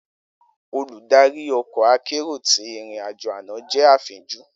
Oludari ọkọ akero ti irin-ajo ana jẹ afinju.